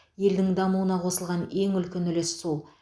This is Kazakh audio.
елдің дамуына қосылған ең үлкен үлес сол